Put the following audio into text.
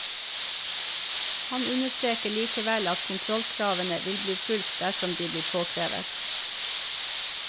Han understreker likevel at kontrollkravene vil bli fulgt dersom de blir påkrevet.